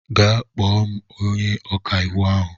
Gaa kpọọ m onye ọka iwu ahụ.